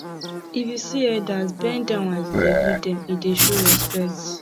if you see elders bend down as you dey greet dem e dey show respect